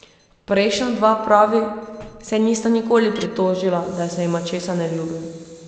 Prejšnja dva, pravi, se nista nikoli pritožila, da se jima česa ne ljubi.